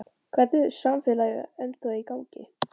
Hvernig er samfélagið ennþá í gangi?